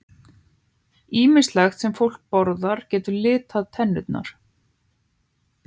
Ýmislegt sem fólk borðar getur litað tennurnar.